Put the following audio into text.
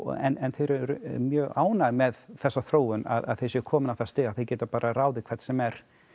en þau eru mjög ánægð með þessa þróun að þau séu komin á það stig að geta ráðið hvern sem er